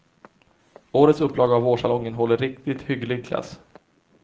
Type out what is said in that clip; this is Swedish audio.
Årets upplaga av vårsalongen håller riktigt hygglig klass.